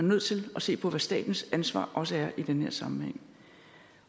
nødt til at se på hvad statens ansvar også er i den her sammenhæng